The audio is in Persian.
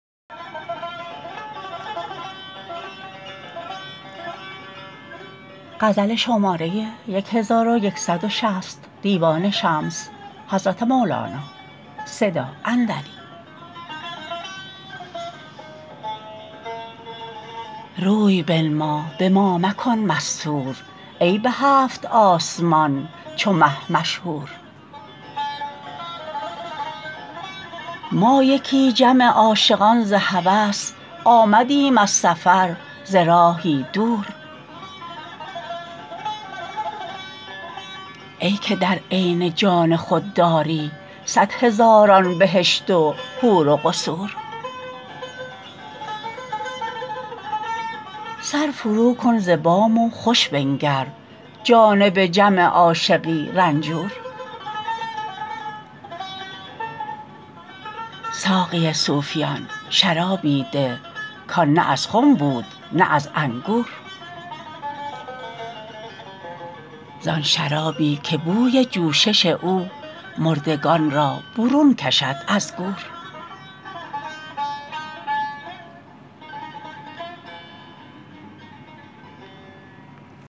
روی بنما به ما مکن مستور ای به هفت آسمان چو مه مشهور ما یکی جمع عاشقان ز هوس آمدیم از سفر ز راهی دور ای که در عین جان خود داری صد هزاران بهشت و حور و قصور سر فروکن ز بام و خوش بنگر جانب جمع عاشقی رنجور ساقی صوفیان شرابی ده کان نه از خم بود نه از انگور ز آن شرابی که بوی جوشش او مردگان را برون کشد از گور